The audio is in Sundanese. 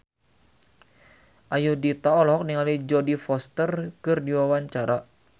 Ayudhita olohok ningali Jodie Foster keur diwawancara